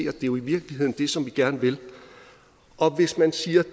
er jo i virkeligheden det som vi gerne vil og hvis man siger